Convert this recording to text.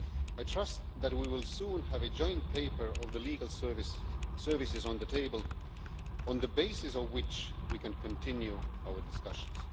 I trust that we will soon have a joint paper of the legal services on the table, on the basis on which we can continue our discussions.